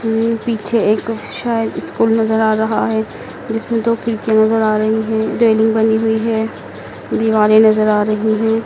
पीछे एक शायद स्कूल नजर आ रहा हैं जिसमे दो खिड़की नजर आ रही है रैलिंग बनी हुई है दीवारें नजर आ रही है।